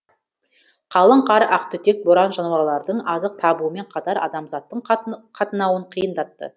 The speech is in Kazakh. қалың қар ақтүтек боран жануарлардың азық табуымен қатар адамзаттың қатынауын қиындатты